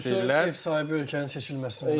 Yəni büdcə ev sahibi ölkənin seçilməsindən məntiqlidir.